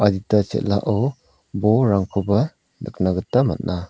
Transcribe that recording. chel·ao bolrangkoba nikna gita man·a.